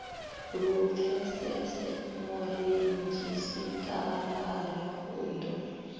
lu pfesese muredzhisitarara u ḓo